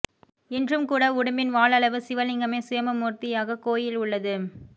இன்றும் கூட உடும்பின் வால் அளவு சிவலிங்கமே சுயம்புமூர்த்தியாக கோயில் உள்ளது